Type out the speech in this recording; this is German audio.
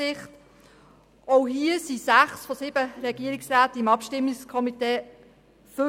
Auch hier waren sechs Regierungsmitglieder Mitglied des ProTram-Komitees.